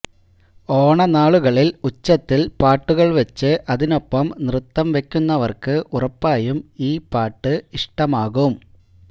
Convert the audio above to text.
ഓണനാളുകളിൽ ഉച്ചത്തിൽ പാട്ടുകൾ വച്ച് അതിനൊപ്പം നൃത്തംവയ്ക്കുന്നവർക്ക് ഉറപ്പായും ഈ പാട്ട് ഇഷ്ടമാകും